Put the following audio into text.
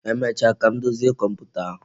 Emecha ka m dozie komputa ahụ